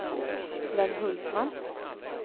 Sven Hultman